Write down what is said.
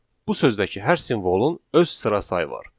Bu sözdəki hər simvolun öz sıra sayı var.